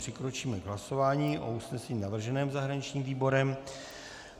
Přikročíme k hlasování o usnesení navrženém zahraničním výborem.